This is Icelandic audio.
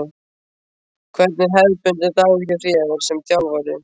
Hvernig er hefðbundinn dagur hjá þér sem þjálfari?